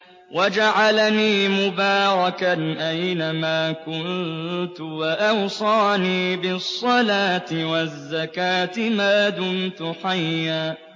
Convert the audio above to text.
وَجَعَلَنِي مُبَارَكًا أَيْنَ مَا كُنتُ وَأَوْصَانِي بِالصَّلَاةِ وَالزَّكَاةِ مَا دُمْتُ حَيًّا